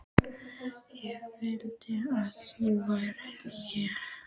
Ég vildi að þú værir hér.